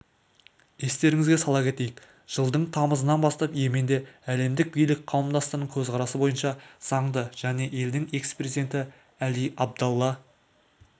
естеріңізге сала кетейік жылдың тамызынан бастап йеменде әлемдік билік қауымдастығының көзқарасы бойынша заңды және елдің экс-президенті әли абдалла